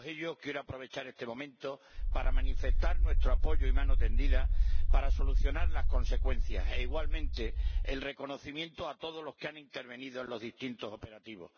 Quiero aprovechar este momento para manifestarles a todos ellos nuestro apoyo y mano tendida para solucionar las consecuencias. E igualmente, el reconocimiento a todos los que han intervenido en los distintos operativos.